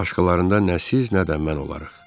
Başqalarında nə siz, nə də mən olarıq.